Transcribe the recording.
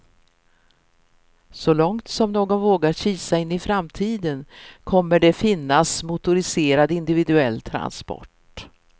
Så långt som någon vågar kisa in i framtiden kommer det finnas motoriserad, individuell transport.